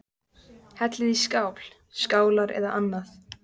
Hellið í skál, skálar eða annað.